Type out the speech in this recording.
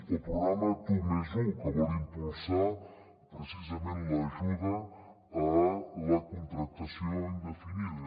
o el programa tu +un que vol impulsar precisament l’ajuda a la contractació indefinida